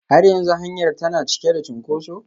Har yanzu hanyar tana cike da cunkoso?